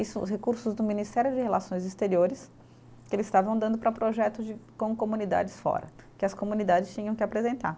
Isso, os recursos do Ministério de Relações Exteriores, que eles estavam dando para projetos de com comunidades fora, que as comunidades tinham que apresentar.